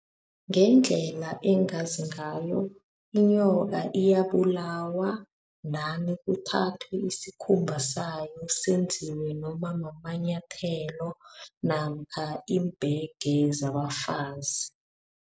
Ngendlela engazi ngayo, inyoka iyabulawa ndani kuthathwa isikhumba sayo senziwe nomamanyathelo namkha iimbhege zaba bafazi.